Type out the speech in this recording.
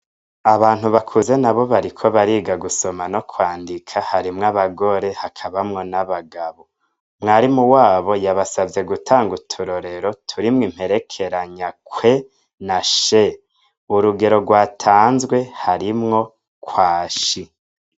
Abantu bakuze nabo bariko bariga gusoma no kwandika harimwo abagore hakabamwo n'abagabo. Mwarimu wabo yabasavye gutanga uturorero turimwo imperekeranya "kwe na she." Urugero rwatanzwe harimwo "kwashi."